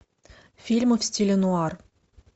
фильмы в стиле нуар